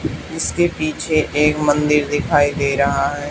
इसके पीछे एक मंदिर दिखाई दे रहा है।